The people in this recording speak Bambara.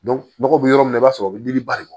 nɔgɔ bɛ yɔrɔ min na i b'a sɔrɔ o bɛ dimi ba de bɔ